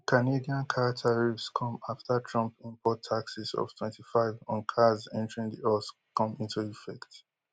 di canadian car tariffs come afta trump import taxes of twenty-five on cars entering di us come into effect